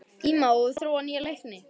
Íma, hefur þú prófað nýja leikinn?